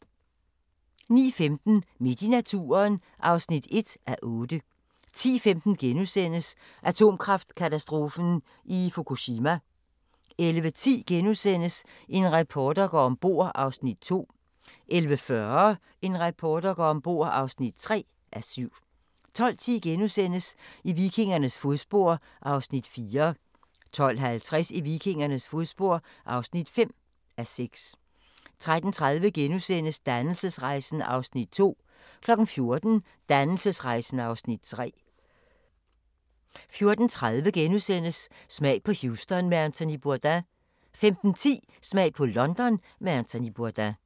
09:15: Midt i naturen (1:8) 10:15: Atomkraftkatastrofen i Fukushima * 11:10: En reporter går om bord (2:7)* 11:40: En reporter går om bord (3:7) 12:10: I vikingernes fodspor (4:6)* 12:50: I vikingernes fodspor (5:6) 13:30: Dannelsesrejsen (Afs. 2)* 14:00: Dannelsesrejsen (Afs. 3) 14:30: Smag på Houston med Anthony Bourdain * 15:10: Smag på London med Anthony Bourdain